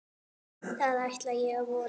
Það ætla ég að vona.